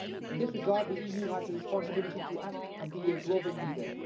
In this regard, the EU has a responsibility to act and be a global leader.